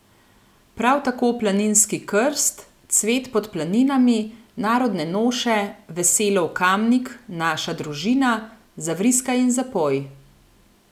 Prav tako Planinski krst, Cvet pod planinami, Narodne noše, Veselo v Kamnik, Naša družina, Zavriskaj in zapoj.